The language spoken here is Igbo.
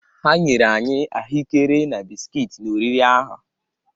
Ha nyere anyị ahụekere na bisikiiti n’oriri ahụ.